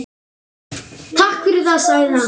Takk fyrir það- sagði hann.